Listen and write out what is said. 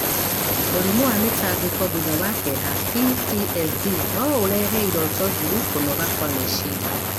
Mũrimũ wa mĩtangĩko thutha wa kĩeha (PTSD) no ũrehe iroto njũru, kũnoga kwa meciria,